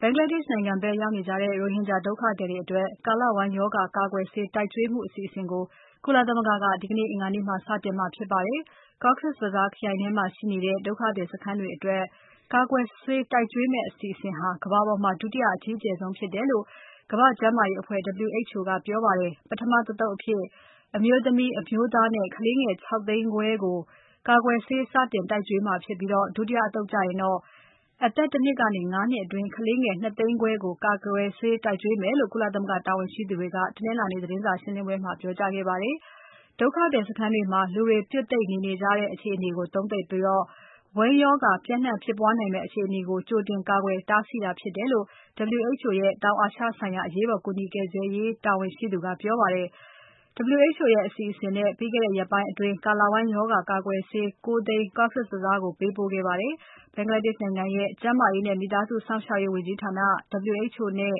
ဘင်္ဂလားဒေ့ရှ်နိုင်ငံဖက်ရောက်နေကြတဲ့ ရိုဟင်ဂျာ ဒုက္ခသည်တွေအတွက် ကာလဝမ်းရောဂါကာကွယ်ဆေး တိုက်ကျွေးမှု အစီအစဉ်ကို ကုလသမဂ္ဂက ဒီကနေ့ အင်္ဂါနေ့မှာ စတင်မှာဖြစ်ပါတယ်။ Cox’s Bazar ခရိုင်ထဲမှာရှိနေတဲ့ ဒုက္ခသည်စခန်းတွေအတွက် ကာကွယ်ဆေးတိုက်ကျွေးမယ့် အစီအစဉ်ဟာ ကမ္ဘာပေါ်မှာ ဒုတိယအကြီးကျယ်ဆုံးဖြစ်တယ်လို့ ကမ္ဘာကျန်းမာရေးအဖွဲ့ WHO ကပြောပါတယ်။ ပထမတသုတ်အဖြစ် အမျိုးသမီး။ အမျိုးသားနဲ့ ကလေးငယ် ၆ သိန်းခွဲကို ကာကွယ်ဆေး စတင်တိုက်ကျွေးမှာဖြစ်ပြီး ဒုတိယအသုတ်ကျရင်တော့ အသက် ၁ နှစ်ကနေ ၅ နှစ်အတွင်း ကလေးငယ် ၂ သိန်း ခွဲကို ကာကွယ်ဆေးတိုက်ကျွေးမယ်လို့ ကုလသမဂ္ဂတာဝန်ရှိသူက တနင်္လာနေ့ သတင်းစာရှင်းပွဲမှာ ပြောကြားခဲ့ပါတယ်။ ဒုက္ခသည်စခန်းတွေမှာ လူတွေ ပြွတ်သိပ်နေနေကြတဲ့ အခြေအနေကို သုံးသပ်ပြီး ဝမ်းရောဂါပျံ့နှံ့ဖြစ်ပွားနိုင်မယ့် အခြေအနေကို ကြိုတင်ကာကွယ်တားဆီးတာဖြစ်တယ်လို့ WHO ရဲ့ တောင်အာရှဆိုင်ရာ အရေးပေါ်ကူညီကယ်ဆယ်ရေးဆိုင်ရာ တာဝန်ရှိသူက ပြောပါတယ်။ WHO ရဲ့အစီအစဉ်နဲ့ ပြီးခဲ့တဲ့ရက်ပိုင်းအတွင်း ကာလဝမ်းရောဂါကာကွယ်ဆေး ၉ သိန်း Cox’s Bazar ကိုပေးပို့ခဲ့တာပါ။ Bangladesh နိုင်ငံရဲ့ ကျန်းမာရေးနဲ့ မိသားစုစောင့်ရှောက်ရေး ဝန်ကြီးဌာန။ WHO နဲ့